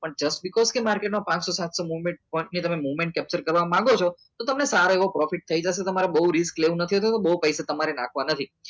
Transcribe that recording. માર્કેટનો પાંચસો payment movement capture કરવા માંગો છો તો તમે સારો એવો profit થઈ જશે તમારે નાખવાના નથી બહુ પૈસા તમારે નાખવા નથી